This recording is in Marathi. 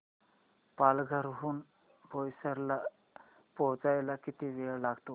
पालघर हून बोईसर ला पोहचायला किती वेळ लागतो